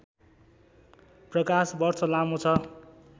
प्रकाशवर्ष लामो छ